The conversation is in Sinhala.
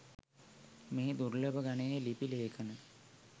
මෙහි දුර්ලභ ගණයේ ලිපි ලේඛන